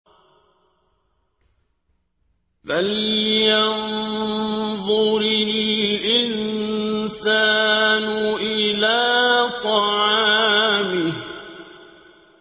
فَلْيَنظُرِ الْإِنسَانُ إِلَىٰ طَعَامِهِ